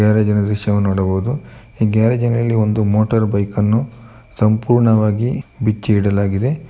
ಗ್ಯಾರೇಜಿನ ದೃಶ್ಯವನ್ನು ನೋಡಬಹುದು ಈ ಗ್ಯಾರೇಜಿನಲ್ಲಿ ಒಂದು ಮೋಟಾರ್ ಬೈಕ್ ಅನ್ನು ಸಂಪೂರ್ಣವಾಗಿ ಬಿಚ್ಚಿಯಿಡಲಾಗಿದೆ.